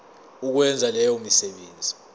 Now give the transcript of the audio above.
ukwenza leyo misebenzi